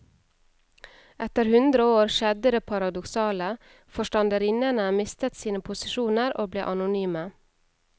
Etter hundre år skjedde det paradoksale, forstanderinnene mistet sine posisjoner og ble anonyme.